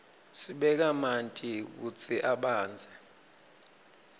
sibeka manti kutsi abandze